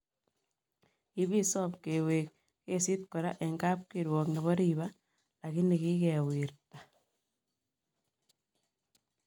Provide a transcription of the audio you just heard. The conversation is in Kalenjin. Kipisom kewek kesit kora en kapkirwok nebo ripaa lakini kikiwirata